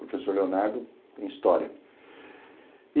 Professor Leonardo em história.